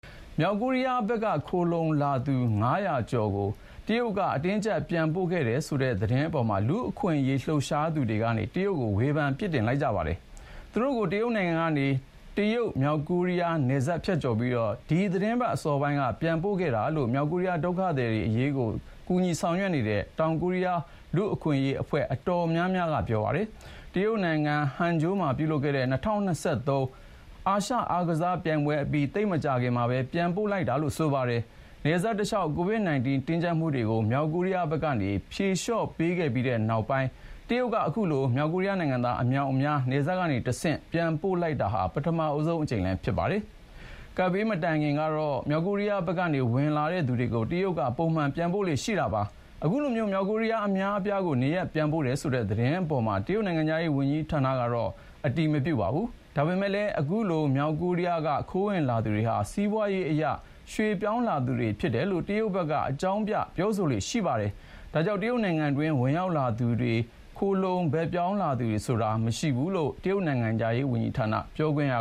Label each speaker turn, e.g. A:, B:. A: မြောက်ကိုရီးယားဘက်က ခိုလှုံလာသူ ၅၀၀ ကျော်ကို တရုတ်က အတင်းအကြပ်ပြန်ပို့ခဲ့တယ်ဆိုတဲ့သတင်းအပေါ် လူ့အခွင့်အရေးလှုပ်ရှားသူတွေက တရုတ်ကို ဝေဖန်ပြစ်တင်ခဲ့ပါတယ်။ သူတို့ကို တရုတ်နိုင်ငံကနေ တရုတ်-မြောက်ကိုရီးယားနယ်စပ်ဖြတ်ပြီး အခု သီတင်းပတ်အစောပိုင်းက ပြန်ပို့ခဲ့တာလို့ မြောက်ကိုရီးယားဒုက္ခသည်တွေအရေး ဆောင်ရွက်နေတဲ့ တောင်ကိုရီးယားလူ့အခွင့်အရေးအဖွဲ့အတော်များများက ပြောပါတယ်။ တရုတ်နိုင်ငံ Hangzhou မှာ ပြုလုပ်ခဲ့တဲ့ ၂၀၂၂ ခုနှစ် အာရှအားကစားပြိုင်ပွဲအပြီး သိပ်မကြာခင်မှာပဲ ပြန်ပို့လိုက်တာလို့ ဆိုပါတယ်။ နယ်စပ်တလျှောက် ကိုဗစ် 19 တင်းကြပ်မှုတွေကို မြောက်ကိုရီးယားဘက်က ဖြေလျှော့ပေးခဲ့တဲ့နောက်ပိုင်း တရုတ်က အခုလို မြောက်ကိုရီးယားနိုင်ငံသားအမြောက်အများ နယ်စပ်ကတဆင့် ပြန်ပို့လိုက်တာ ပထမဆုံးအကြိမ်လည်းဖြစ်ပါတယ်။ ကပ်ဘေးမတိုင်ခင်ကတော့ မြောက်ကိုရီယားဘက်က ဝင်လာသူတွေကို တရုတ်က ပုံမှန်ပြန်ပို့လေ့ရှိတာပါ။ အခုလို မြောက်ကိုရီးယားအများအပြားကို နေရပ်ပြန်ပို့တယ်ဆိုတဲ့ သတင်းအပေါ်မှာ တရုတ်နိုင်ငံခြားရေးဝန်ကြီးဌာနကတော့ အတည်မပြုပါဘူး။ ဒါပေမယ့်လည်း အခုလို မြောက်ကိုရီးယားက ခိုးဝင်လာသူတွေဟာ စီးပွားရေးအရ ရွှေ့ပြောင်းလာသူတွေဖြစ်တယ်လို့ တရုတ်ဘက်က အကြောင်းပြပြောဆိုလေ့ရှိပါတယ်။ဒါကြောင့် တရုတ်နိုင်ငံတွင်း ဝင်ရောက်လာသူတွေထဲ ခိုလှုံဘက်ပြောင်းလာသူတွေဆိုတာ မရှိဘူးလို့ တရုတ်နိုင်ငံခြားရေးဌာန ပြောခွင့်ရ